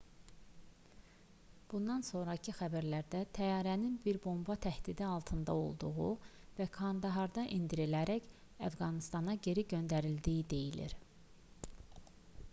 bundan sonrakı xəbərlərdə təyyarənin bir bomba təhdidi altında olduğu və kandaharda endirilərək əfqanıstana geri göndərildiyi deyilir